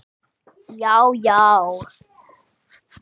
Já já!